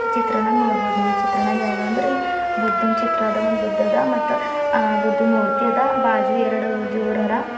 ಚಿತ್ರಣನಾಗ್ ನೋಡ್ಬೋದ್ ಈ ಚಿತ್ರಣಾಗ ಏನದಂದ್ರೆ ಬುದ್ಧನ್ ಚಿತ್ರ ಅದ ಒಂದು ಬುದ್ಧದ ಆ ಬುದ್ಧನ್ ಬಾಜು ಎರಡು ದೇವರೋರ.